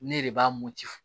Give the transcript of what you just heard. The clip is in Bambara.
Ne de b'a